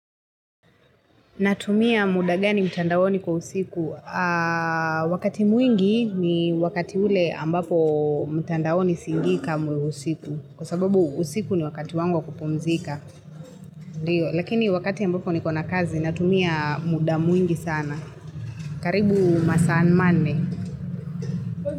Natumia muda gani mtandaoni kwa usiku. Wakati mwingi ni wakati ule ambapo mtandaoni singii kamwe usiku. Kwa sababu usiku ni wakati wangu wa kupumzika. Lakini wakati ambapo niko na kazi natumia muda mwingi sana. Karibu masaa manne.